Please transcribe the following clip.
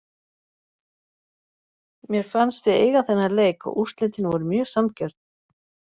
Mé fannst við eiga þennan leik og úrslitin voru mjög sanngjörn.